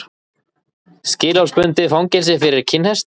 Skilorðsbundið fangelsi fyrir kinnhest